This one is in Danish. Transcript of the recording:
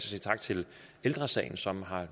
sige tak til ældre sagen som har